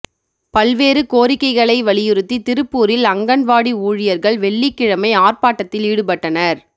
பல்வேறு கோரிக்கைகளை வலியுறுத்தி திருப்பூரில் அங்கன்வாடி ஊழியா்கள் வெள்ளிக்கிழமை ஆா்ப்பாட்டத்தில் ஈடுபட்டனா்